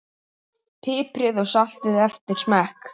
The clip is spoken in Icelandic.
Piprið og saltið eftir smekk.